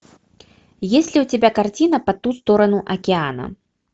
есть ли у тебя картина по ту сторону океана